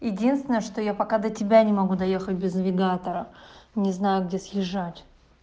единственное что я пока до тебя не могу доехать без навигатора не знаю где съезжать